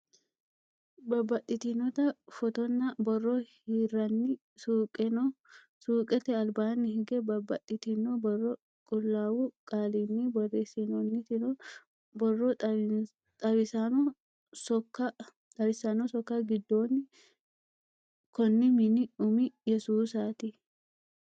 Babbaxxitinota footonna borro hirranni suuqe no: Suuqete albaanni higge babbaxxitino borro Qullaawu qaalinni borreessinoonniti no; Borro xawissanno sokka giddonni: Konni mini umi Yesuusaati.